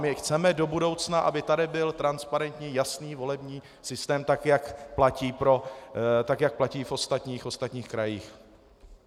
My chceme do budoucna, aby tady byl transparentní, jasný volební systém, tak jak platí v ostatních krajích.